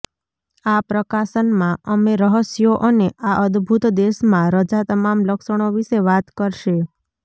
આ પ્રકાશન માં અમે રહસ્યો અને આ અદ્ભુત દેશમાં રજા તમામ લક્ષણો વિશે વાત કરશે